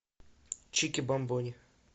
чикибамбони